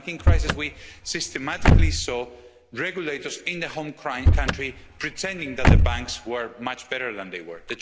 During the banking crisis, we systematically saw regulators in their home country pretending that the banks were much better than they were.